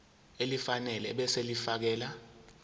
elifanele ebese ulifiakela